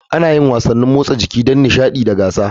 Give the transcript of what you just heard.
Ana yin wasannin motsa jiki don nishaɗi da gasa.